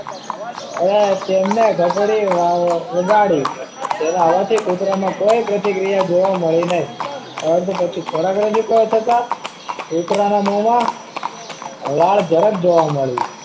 તેમને ઘંટડી વગાડી તેના અવાજ થી કુતરામાં કોઈ પ્રતિક્રિયા જોવા મળી નહીં આ તો પછી ખોરાક રજૂ કરો કે આ કુતરા ના મોમા લાળ જરાક જોવા મળી